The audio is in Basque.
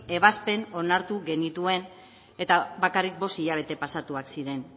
ebazpen onartu genituen eta bakarrik bost hilabete pasatuak ziren